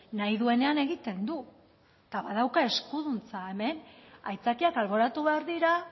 nahi duenean egiten du eta badauka eskuduntza hemen aitzakiak alboratu behar dira